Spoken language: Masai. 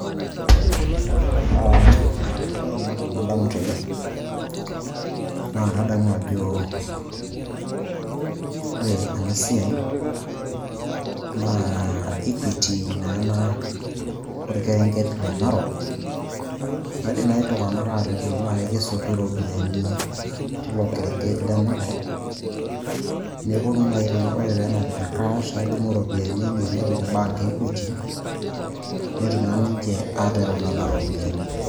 Ah ore naa entoki nadamu tene, naa kadamu ajo, ore enasiai naa Equity na ena orkerenket le Natok, naidim na iltung'anak atejo nai kesotu ropiyaiani tilo kerenket le Narok, neponu nai tene ore penapita cash ,nedumu ropiyaiani enye nepik bank e Equity, netum na ninche atereu nena ropiyaiani.